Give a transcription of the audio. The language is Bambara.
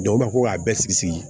u b'a fɔ k'a bɛɛ sigi sigi